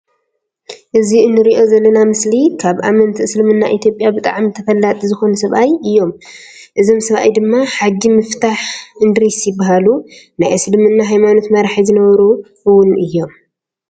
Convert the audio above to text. እዚ እንርእዮ ዘለና ምስሊ ካብ ኣመንቲ እስልምና ኢትዮጵያ ብጣሕሚ ተፈላጢ ዝኮኑ ሰብኣይ እዮም። እዞም ሰብኣይ ድማ ሓጂ ምፉታሕ እንድሪስ ይባሃሉ። ናይ እስልምና ሃይማኖት መራሒ ዝነበሩ እውን እዮም።